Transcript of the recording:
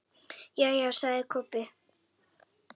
Jæja, sagði Kobbi.